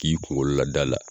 K'i kungolo lad'a la.